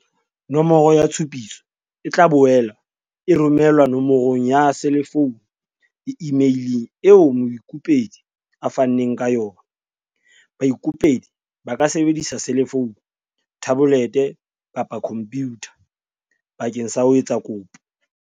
Nomoro ya tshupiso e tla boela e romelwa no morong ya selefounu le imeileng eo moikopedi a fanneng ka yona. Baikopedi ba ka sebedisa selefounu, thabolete kapa khompyutha bakeng sa ho etsa kopo.